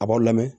A b'aw lamɛn